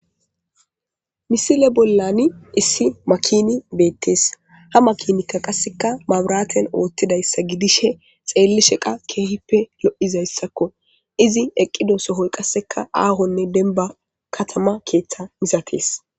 misile bollani issi makini beettees ha makinikka qasseka maburaten oothtidayssa gidishe xeelle sheqa keehippe lo7izayssakko izi eqqido sohoy qasseka aahonne denba katama keeththa misatees